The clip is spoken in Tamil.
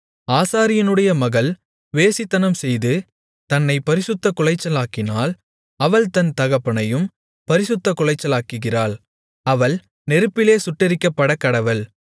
ஆசாரியனுடைய மகள் வேசித்தனம்செய்து தன்னைப் பரிசுத்தக்குலைச்சலாக்கினால் அவள் தன் தகப்பனையும் பரிசுத்தக் குலைச்சலாக்குகிறாள் அவள் நெருப்பிலே சுட்டெரிக்கப்படக்கடவள்